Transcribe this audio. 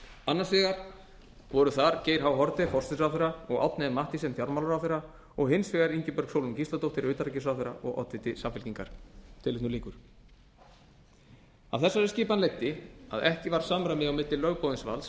annars vegar voru þar geir h haarde forsætisráðherra og árni m mathiesen fjármálaráðherra og hins vegar ingibjörg sólrún gísladóttir utanríkisráðherra og oddviti samfylkingar af þessari skipan leiddi að ekki var samræmi á milli lögboðins valds